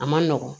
A man nɔgɔn